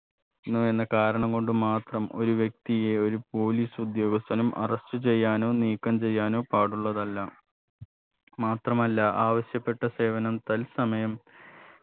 ന്നുവെന്ന കാരണം കൊണ്ട് മാത്രം ഒരു വ്യക്തിയെ ഒരു police ഉദ്യോഗസ്ഥനും arrest ചെയ്യാനോ നീക്കം ചെയ്യാനോ പാടുള്ളതല്ല മാത്രമല്ല ആവശ്യപ്പെട്ട സേവനം തത്സമയം